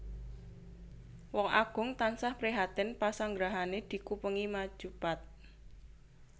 Wong Agung tansah prihatin pasanggrahané dikupengi maju pat